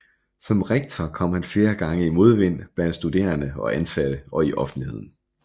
Som rektor kom han flere gange i modvind blandt studerende og ansatte og i offentligheden